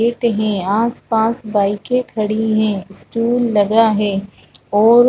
देखते हैं आसपास बाइकें खड़ी है स्टॉल लगा है और --